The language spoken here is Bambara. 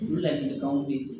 U ladilikanw bɛ ye